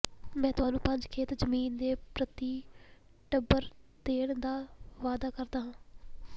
ਮੈਂ ਤੁਹਾਨੂੰ ਪੰਜ ਖੇਤ ਜ਼ਮੀਨ ਦੇ ਪ੍ਰਤੀ ਟੱਬਰ ਦੇਣ ਦਾ ਵਾਅਦਾ ਕਰਦਾ ਹਾਂ